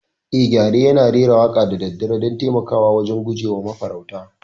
Eh, gyare yana rera waƙa da daddare don taimakawa wajen guje wa mafarauta.